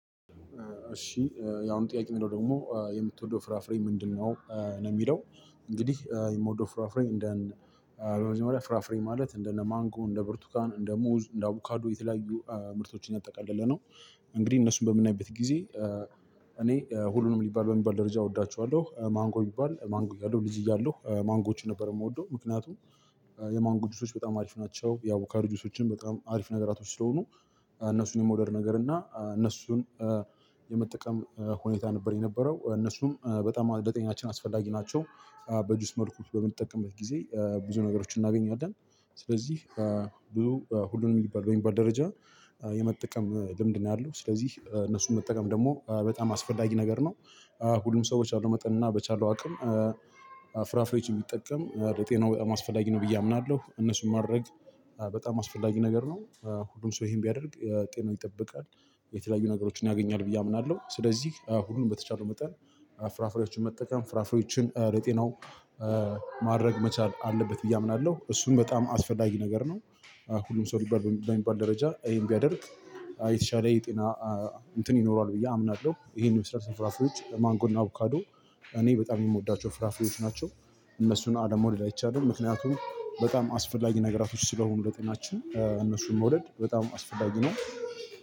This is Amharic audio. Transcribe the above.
እሺ ያው ጥያቄ ደግሞ የምትወደው ፍራፍሬ ምንድነው ነው የሚለው? እንግዲህ የምወደው ፍራፍሬ እንደ በመጀመሪያ ፍራፍሬ ማለት እንደ ነማንጎ እንደ ብርቱካን እንደ ሙዝ እንደ አውካዶ የተለያዩ ምርቶችን ያጠቃለለ ነው። እንግዲህ እነሱን በምናይበት ጊዜ። እኔ ሁሉንም ሊባል በሚባል ደረጃ እወዳችኋለሁ ማንጎ ይባል ማንጎ ያለው ልጅ እያለሁ ማንጎችን ነበር የምወደው ምክንያቱም። የማንጎ ጁሶች በጣም አሪፍ ናቸው ያው ካርጁሶችን በጣም አሪፍ ነገራቶች ስለሆኑ። እነሱን የመውደር ነገር እና እነሱን የመጠቀም ሁኔታ ነበር የነበረው። እነሱም በጣም ለጤናችን አስፈላጊ ናቸው። በጁስ መልኩ በምንጠቀምበት ጊዜ ብዙ ነገሮችን እናገኛለን። ስለዚህ በብዙ ሁሉንም የሚባል ወይም በደረጃ የመጠቀም ልምድ ነው ያለው። ስለዚህ እነሱን መጠቀም ደግሞ በጣም አስፈላጊ ነገር ነው። ሁሉም ሰው በመጠን እና በቻለው አቅም። ፍራፍሬዎች ቢጠቀም ለጤናው በጣም አስፈላጊ ነው ብዬ አምናለሁ። እነሱን ማድረግ በጣም አስፈላጊ ነገር ነው። ሁሉን ሰው ይሄን ቢያደርግ ጤና ይጠበቃል። የተለያዩ ነገሮችን ያገኛል ብዬ አምናለሁ። ስለዚህ ሁሉንም በተቻለው መጠን ፍራፍሬዎችን መጠቀም ፍራፍሬዎችን ለጤናው። ማድረግ መቻል አለበት ብዬ አምናለሁ እሱን በጣም አስፈላጊ ነገር ነው። ሁሉም ሰው ሊባል በሚባል ደረጃ ይሄን ቢያደርግ የተሻለ የጤና እንትን ይኖረዋል ብዬ አምናለሁ። ይሄን የመሰሉ ፍራፍሬዎች ለማንጎና ካዶ እኔ በጣም የምወዳቸው ፍራፊዎች ናቸው። እነሱን አለመውደድ አይቻልም ምክንያቱም በጣም አስፈላጊ ነገራቶች ስለሆኑ ለጤናችን እነሱን መውደድ በጣም አስፈላጊ ነው።